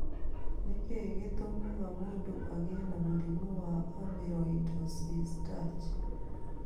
Nĩ kĩĩ gĩtũmaga mũndũ agĩe na mũrimũ wa amyloidosis Dutch?